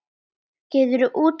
Geturðu útskýrt það?